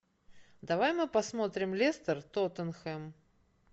давай мы посмотрим лестер тоттенхэм